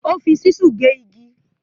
O fi ṣísù gé igi.